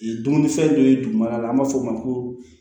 Dumunifɛn dɔ ye dugumana la an b'a fɔ o ma ko